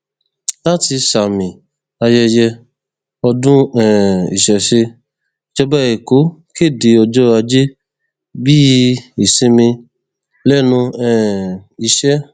láti sàmì ayẹyẹ ọdún um ìṣẹṣẹ ìjọba èkó kéde ọjọ ajé bíi ìsinmi lẹnu um iṣẹ